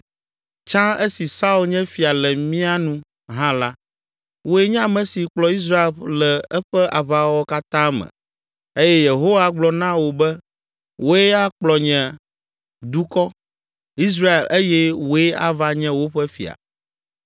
Tsã esi Saul nye fia le mia nu hã la, wòe nye ame si kplɔ Israel le eƒe aʋawɔwɔ katã me eye Yehowa gblɔ na wò be wòe akplɔ nye eƒe dukɔ, Israel eye wòe ava nye woƒe fia.”